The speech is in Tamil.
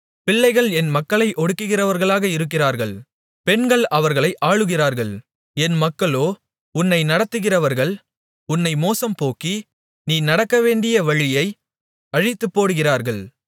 பிள்ளைகள் என் மக்களை ஒடுக்குகிறவர்களாக இருக்கிறார்கள் பெண்கள் அவர்களை ஆளுகிறார்கள் என் மக்களோ உன்னை நடத்துகிறவர்கள் உன்னை மோசம்போக்கி நீ நடக்கவேண்டிய வழியை அழித்துப்போடுகிறார்கள்